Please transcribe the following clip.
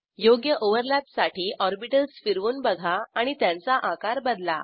योग्य ओव्हरलॅपसाठी ऑरबिटल्स फिरवून बघा आणि त्यांचा आकार बदला